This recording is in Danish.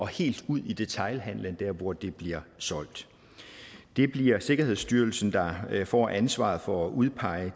helt ud i detailhandlen hvor det bliver solgt det bliver sikkerhedsstyrelsen der får ansvaret for at udpege